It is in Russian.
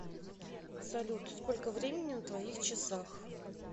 салют сколько времени на твоих часах